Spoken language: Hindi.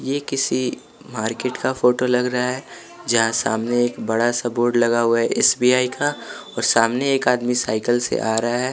ये किसी मार्केट का फोटो लग रहा है जहाँ सामने एक बड़ा सा बोर्ड लगा हुआ है एस_बी_आई का और सामने एक आदमी साइकिल से आ रहा है।